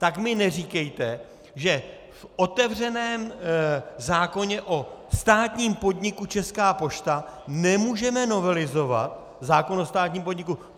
Tak mi neříkejte, že v otevřeném zákoně o státním podniku Česká pošta nemůžeme novelizovat zákon o státním podniku.